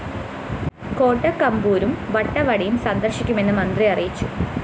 കൊട്ടക്കമ്പൂരും വട്ടവടയും സന്ദര്‍ശിക്കുമെന്നും മന്ത്രി അറിയിച്ചു